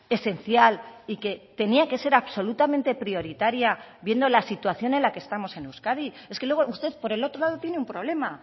esencial y que tenía que ser absolutamente prioritaria viendo la situación en la que estamos en euskadi es que luego usted por el otro lado tiene un problema